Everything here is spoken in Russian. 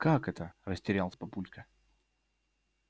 как это растерялся папулька